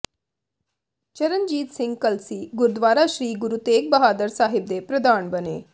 ਚਰਨਜੀਤ ਸਿੰਘ ਕਲਸੀ ਗੁਰਦੁਆਰਾ ਸ੍ਰੀ ਗੁਰੂ ਤੇਗ ਬਹਾਦਰ ਸਾਹਿਬ ਦੇ ਪ੍ਰਧਾਨ ਬਣੇ